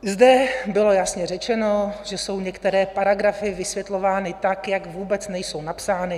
Zde bylo jasně řečeno, že jsou některé paragrafy vysvětlovány tak, jak vůbec nejsou napsány.